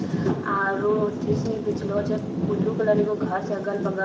आरो अथी सनी बिछलो छो ब्लू कलर के एगो घर छै अगल-बगल।